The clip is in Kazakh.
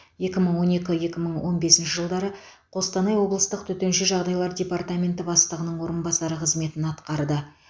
екі мың он екі екі мың он бесінші жылдары қостанай облыстық төтенше жағдайлар департаменті бастығының орынбасары қызметін атқарды